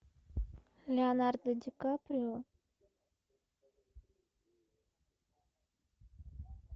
леонардо ди каприо